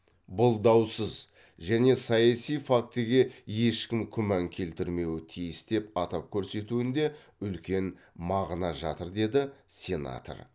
бұл даусыз және саяси фактіге ешкім күмән келтірмеуі тиіс деп атап көрсетуінде үлкен мағына жатыр деді сенатор